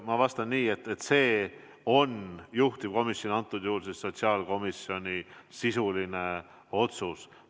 Ma vastan nii, et see on juhtivkomisjoni, antud juhul siis sotsiaalkomisjoni sisuline otsus.